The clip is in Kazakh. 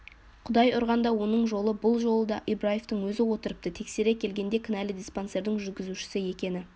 құдай ұрғанда оның жолы бұл жолы да ибраевтың өзі отырыпты тексере келгенде кінәлі диспансердің жүргізушісі екені